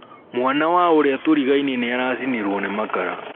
Mwana wa ũrĩa turigainie niaracinirũo nĩ makara.